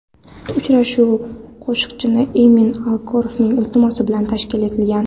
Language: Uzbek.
Uchrashuv qo‘shiqchi Emin Agalarovning iltimosi bilan tashkil etilgan.